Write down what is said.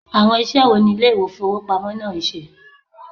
Awon ise wo ni ile ifowopamo naa n se?